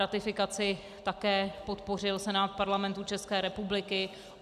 Ratifikaci také podpořil Senát Parlamentu České republiky.